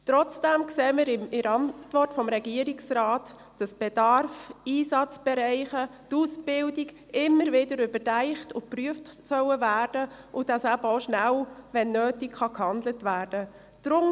Trotzdem sehen wir in der Antwort des Regierungsrates, dass der Bedarf, die Einsatzbereiche und die Ausbildung immer wieder überdacht und geprüft werden, sodass wenn nötig eben auch rasch gehandelt werden kann.